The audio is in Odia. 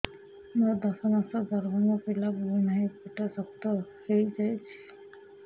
ମୋର ଦଶ ମାସର ଗର୍ଭ ମୋ ପିଲା ବୁଲୁ ନାହିଁ ପେଟ ଶକ୍ତ ହେଇଯାଉଛି